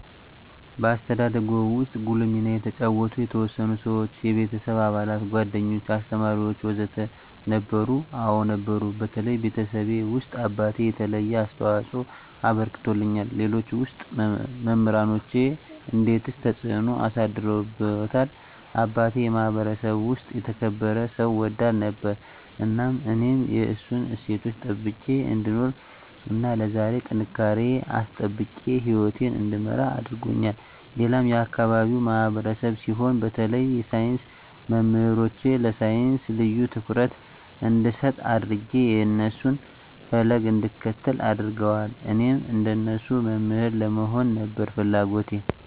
በአስተዳደግዎ ውስጥ ጉልህ ሚና የተጫወቱ የተወሰኑ ሰዎች (የቤተሰብ አባላት፣ ጓደኞች፣ አስተማሪዎች ወዘተ) ነበሩ? አዎ ነበሩ በተለይ ቤተሰቤ ውስጥ አባቴ የተለየ አስተዋፅኦ አበርክቶልኛል ሌሎች ውስጥ መምራኖቼ እንዴትስ ተጽዕኖ አሳድረውብዎታል አባቴ የማህበረሰቡ ውስጥ የተከበረ ሰው ወዳድ ነበር እናም እኔም የእሱን እሴቶች ጠብቄ እንድኖር እና ለዛሬ ጥንካሬየን አስጠብቄ ህይወቴን እንድመራ አድርጎኛል ሌላም የአካባቢው ማህበረሰብ ሲሆን በተለይ የሳይንስ መምህሮቼ ለሳይንስ ልዬ ትኩረት እንድሰጥ አድጌ የእነሱን ፈለግ እንድከተል አድርገዋል እኔም እንደነሱ መምህር ለመሆን ነበር ፍለጎቴ